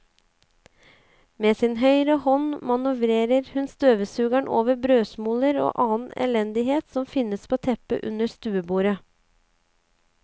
Med sin høyre hånd manøvrerer hun støvsugeren over brødsmuler og annen elendighet som finnes på teppet under stuebordet.